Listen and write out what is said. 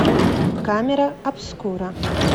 камера обскура